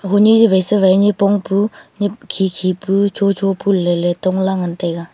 hunyi yawai sawai nyipong pu nyi khi khi pu cho cho pu leley tongla ngan taiga.